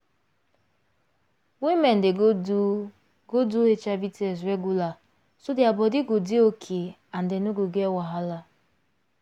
women dey go do go do hiv test regular so their body go dey okay and dem no go get wahala